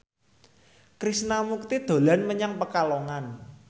Krishna Mukti dolan menyang Pekalongan